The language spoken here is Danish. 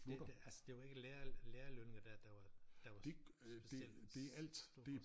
Det der altså det jo ikke lærer lærerlønninger der der var der var specielt store